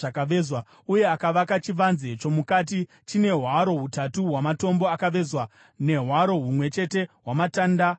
Uye akavaka chivanze chomukati chine hwaro hutatu hwamatombo akavezwa, nehwaro humwe chete hwamatanda omusidhari.